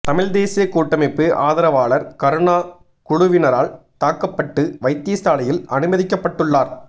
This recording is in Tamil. தமிழ் தேசிய கூட்டமைப்பு ஆதரவாளர் கருணா குழுவினரால் தாக்கப்பட்டு வைத்தியசாலையில் அனுமதிக்கப்பட்டுள்ளார்